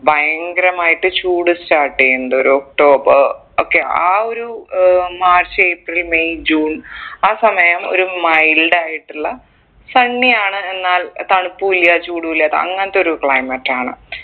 ഭയങ്കരമായിട്ട് ചൂട് start ചെയ്യുണ്ട് ഒരു ഒക്ടോബർ ഒക്കെ ആ ഒരു ഉം മാർച്ച് ഏപ്രിൽ മെയ് ജൂൺ ആ സമയം ഒരു mild ആയിട്ടുള്ള sunny ആണ് എന്നാൽ തണുപ്പു ഇല്ല ചൂടു ഇല്ലാത്ത അങ്ങൻതൊരു climate ആണ്